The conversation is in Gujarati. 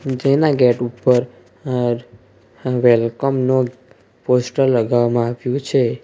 જેના ગેટ ઉપર અર્ વેલકમ નું પોસ્ટર લગાવવામાં આવ્યું છે.